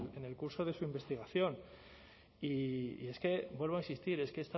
en el curso de su investigación y es que vuelvo a insistir es que